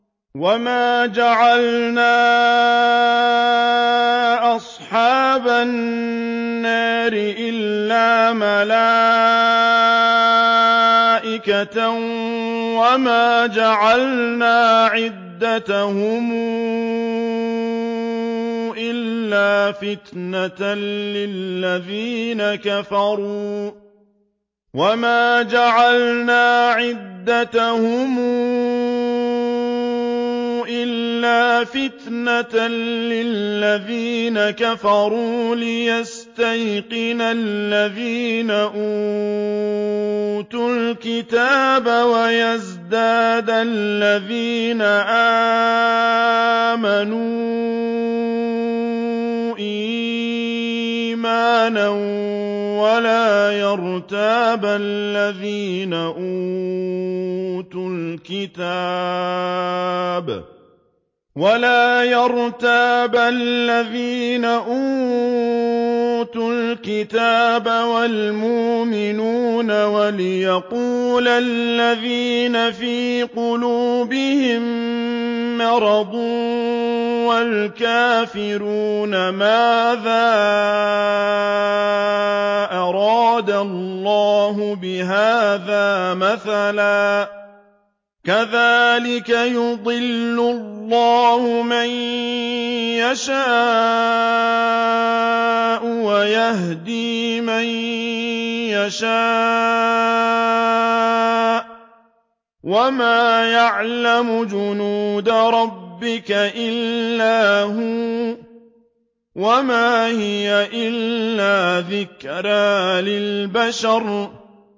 وَمَا جَعَلْنَا أَصْحَابَ النَّارِ إِلَّا مَلَائِكَةً ۙ وَمَا جَعَلْنَا عِدَّتَهُمْ إِلَّا فِتْنَةً لِّلَّذِينَ كَفَرُوا لِيَسْتَيْقِنَ الَّذِينَ أُوتُوا الْكِتَابَ وَيَزْدَادَ الَّذِينَ آمَنُوا إِيمَانًا ۙ وَلَا يَرْتَابَ الَّذِينَ أُوتُوا الْكِتَابَ وَالْمُؤْمِنُونَ ۙ وَلِيَقُولَ الَّذِينَ فِي قُلُوبِهِم مَّرَضٌ وَالْكَافِرُونَ مَاذَا أَرَادَ اللَّهُ بِهَٰذَا مَثَلًا ۚ كَذَٰلِكَ يُضِلُّ اللَّهُ مَن يَشَاءُ وَيَهْدِي مَن يَشَاءُ ۚ وَمَا يَعْلَمُ جُنُودَ رَبِّكَ إِلَّا هُوَ ۚ وَمَا هِيَ إِلَّا ذِكْرَىٰ لِلْبَشَرِ